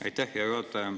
Aitäh, hea juhataja!